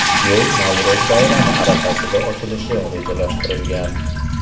Yo‘l Navro‘z bayrami arafasida ochilishi rejalashtirilgan.